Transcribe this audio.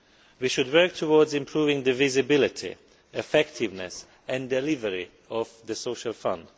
We should work towards improving the visibility, effectiveness and delivery of the Social Fund.